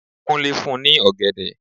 Kúnlé fún ní ọ̀gẹ̀dẹ̀.